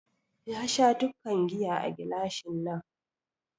Ya Sha dukkan giya a gilashin nan